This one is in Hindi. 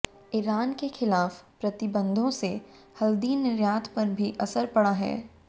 ईरान के खिलाफ प्रतिबंधों से हल्दी निर्यात पर भी असर पड़ा है